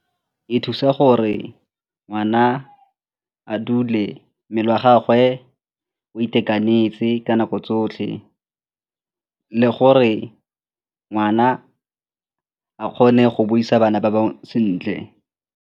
E thusa gore ngwana a dule mmele wa gagwe o itekanetse ka nako tsotlhe le gore ngwana a kgone go buisa bana ba bangwe sentle.